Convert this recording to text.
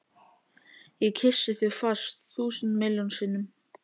Ég kyssi þig fast, þúsund miljón sinnum.